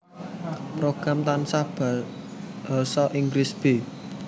Program Tambahan Basa Inggris b